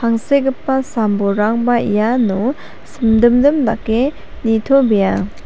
angsekgipa sam-bolrangba iano simdimdim dake nitobea.